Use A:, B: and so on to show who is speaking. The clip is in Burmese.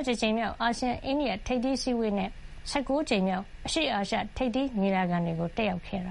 A: က်တဲ့ အိန္ဒိယဝန်ကြီးချုပ် Modi ဟာ ဗီယင်ကျန်းမှာ ကျင်းပတဲ့ ၂၁ ကြိမ်မြောက် အာဆီယံ- အိန္ဒိယထိပ်သီးအစည်းဝေးနဲ့ ၁၉ ကြမ်မြောက် အရှေ့အာရှ
B: ထိပ်သီးညီလာခံတွေကို တက်ရောက်ခဲ့တ